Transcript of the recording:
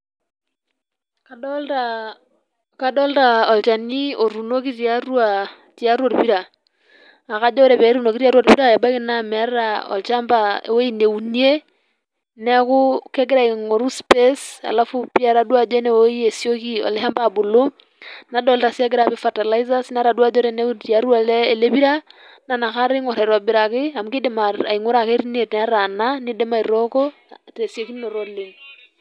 Kadolta olchani otuunoki tiatu orpira. Na kajo ore petuunoki tiatua orpira, ebaiki na meeta olchamba ewei neunie, neeku kegira aing'oru space ,alafu etadua si ajo enewei esioki ele shamba abulu, nadolta si egira apik fertiliser ,netadua ajo tiatua ele pira, na nakata eing'or aitobiraki amu kidim aing'ura ake tine netaana, kidim si aitooko tesiokinoto oleng'.